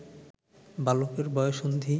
বালকের বয়ঃসন্ধি